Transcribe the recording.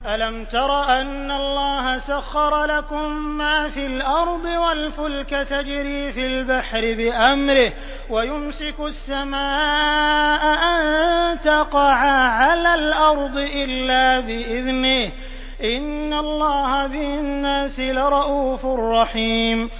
أَلَمْ تَرَ أَنَّ اللَّهَ سَخَّرَ لَكُم مَّا فِي الْأَرْضِ وَالْفُلْكَ تَجْرِي فِي الْبَحْرِ بِأَمْرِهِ وَيُمْسِكُ السَّمَاءَ أَن تَقَعَ عَلَى الْأَرْضِ إِلَّا بِإِذْنِهِ ۗ إِنَّ اللَّهَ بِالنَّاسِ لَرَءُوفٌ رَّحِيمٌ